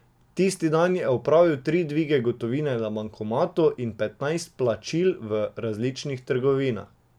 Tisti dan je opravil tri dvige gotovine na bankomatu in petnajst plačil v različnih trgovinah.